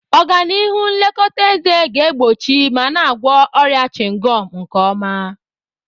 Ọganihu nlekọta eze ga-egbochi ma na-agwọ ọrịa chịngọm nke ọma.